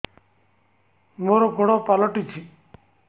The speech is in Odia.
ମୋର ଗୋଡ଼ ପାଲଟିଛି